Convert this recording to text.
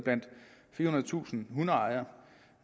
firehundredetusind hundeejere